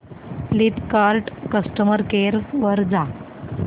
Flipkart customer care वर जा